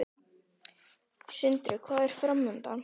Sindri: Hvað er framundan?